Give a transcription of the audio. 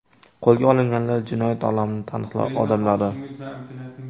Qo‘lga olinganlar jinoyat olamining taniqli odamlari.